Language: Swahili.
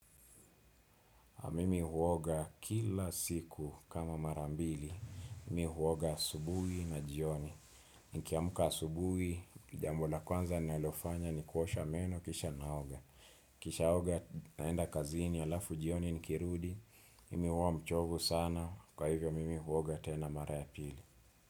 Mimi huoga kila siku kama marambili. Mimi huoga asubuhi na jioni. Nikiamka asubuhi, jambo la kwanza ninalofanya ni kuosha meno kisha naoga. Nikisha naoga naenda kazini alafu jioni ni kirudi. Mimi huwa mchovu sana. Kwa hivyo mimi huoga tena mara ya pili.